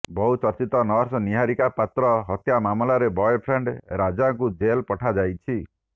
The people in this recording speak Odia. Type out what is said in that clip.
ବହୁ ଚର୍ଚ୍ଚିତ ନର୍ସ ନିହାରିକା ପାତ୍ର ହତ୍ୟା ମାମଲାରେ ବୟଫ୍ରେଣ୍ଡ ରାଜାକୁ ଜେଲ ପଠାଯାଇଛି